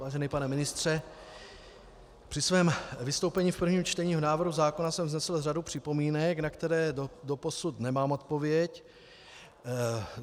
Vážený pane ministře, při svém vystoupení v prvním čtení v návrhu zákona jsem vznesl řadu připomínek, na které doposud nemám odpověď.